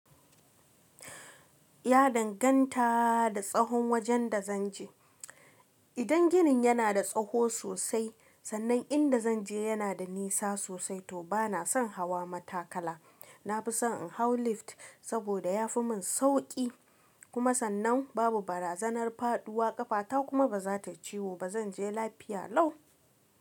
Ya danganta da tsahon wajen da zan je. Idan ginin yana da tsaho sosai, sannan inda zan je yana da nisa sosai to bana son hawa matakala. Na fi son in hau lift saboda ya fi mun sauƙi. Kuma sannan babu barazanar faduwa, ƙafata kuma ba za ta ciwo ba. Zan je lafiya lau.